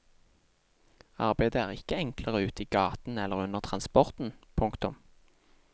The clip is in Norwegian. Arbeidet er ikke enklere ute i gaten eller under transporten. punktum